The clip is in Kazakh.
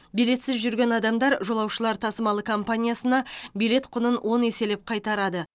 билетсіз жүрген адамдар жолаушылар тасымалы компаниясына билет құнын он еселеп қайтарады